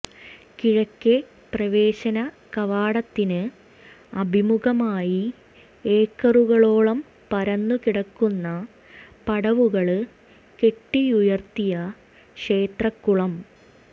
കിഴക്കെ പ്രവേശന കവാടത്തിന് അഭിമുഖമായി ഏക്കറുകളോളം പരന്നുകിടക്കുന്ന പടവുകള് കെട്ടിയുയര്ത്തിയ ക്ഷേത്രക്കുളം